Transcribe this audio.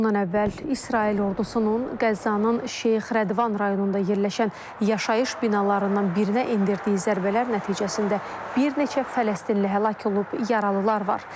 Bundan əvvəl İsrail ordusunun Qəzzanın Şeyx Rədvan rayonunda yerləşən yaşayış binalarından birinə endirdiyi zərbələr nəticəsində bir neçə fələstinli həlak olub, yaralılar var.